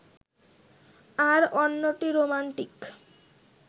আর অন্যটি রোমান্টিক